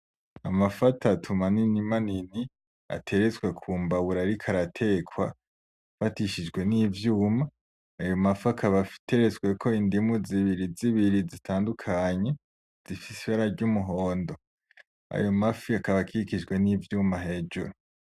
Amafi atatu manini manini atertswe kumbabura ariko aratekwa afatishijwe n'ivyuma, ayo mafi akaba ateretsweko indimu zibiri zibiri zitandukanye zifise ibara ry'umuhondo. Ayo mafi akaba akikijwe n'ivyuma hejuru.